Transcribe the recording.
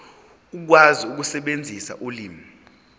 ukwazi ukusebenzisa ulimi